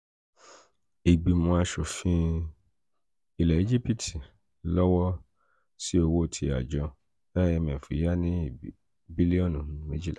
ìgbìmọ̀ aṣòfin um ilẹ̀ egipti fọwọ́ sí owó tí àjọ àjọ imf [c]s yá ní bílíọ̀nù méjìlá um